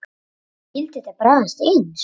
En skyldi þetta bragðast eins?